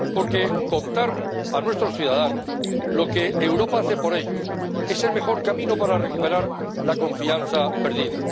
Porque contar a nuestros ciudadanos lo que Europa hace por ellos es el mejor camino para recuperar la confianza perdida.